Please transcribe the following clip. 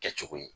Kɛcogo ye